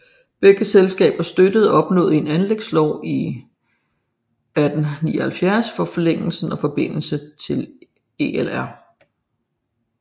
Begge selskabet støttede og opnåede en anlægslov i 1879 for forlængelsen og forbindelse til ELR